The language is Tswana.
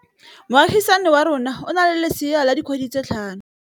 Moagisane wa rona o na le lesea la dikgwedi tse tlhano.